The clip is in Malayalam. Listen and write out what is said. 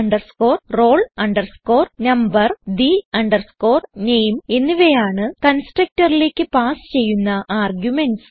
the roll number the name എന്നിവയാണ് constructorലേക്ക് പാസ് ചെയ്യുന്ന ആർഗുമെന്റ്സ്